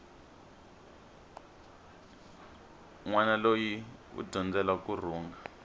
nwana loyi u dyondzela kurhunga